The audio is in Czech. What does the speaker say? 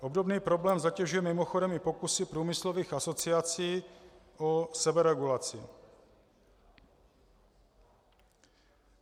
Obdobný problém zatěžuje mimochodem i pokusy průmyslových asociací o seberegulaci.